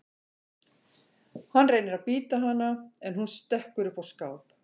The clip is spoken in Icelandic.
Hann reynir að bíta hana en hún stekkur upp á skáp.